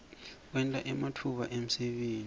kwenta ematfuba emsebenti